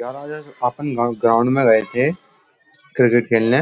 यार आज अपन ग्राउंड में गए थे क्रिकेट खेलने